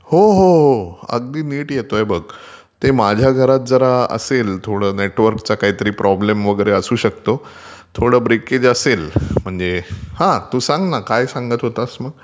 हो हो अगदी नीट येतोय बघ. ते माझ्या घरात जरा असेल नेट काहीतरी प्रॉब्लेम वगैरे असू शकतं. ब्रेकेज असू शकतं, हा तू सांग ना काय सांगत होतास मग....